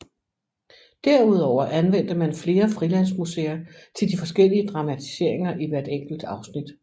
Derudover anvendte man flere frilandsmuseer til de forskellige dramatiseringer i hvert enkelt afsnit